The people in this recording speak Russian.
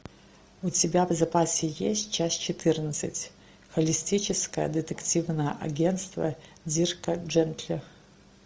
у тебя в запасе есть часть четырнадцать холистическое детективное агентство дирка джентли